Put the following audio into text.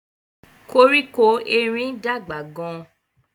Koríko erin dàgbà gán.